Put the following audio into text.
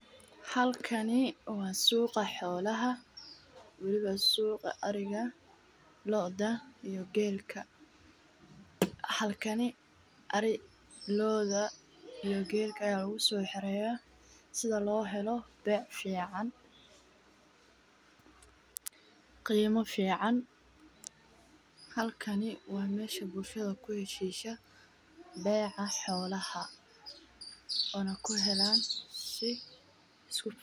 Halkani waa suuqa xolaha weliba suuqa ariga looda iyo geelka halkan ayaa lagu soo xiraya si loo helo beec fican iyo lacag waa meesha lagu heshiyo.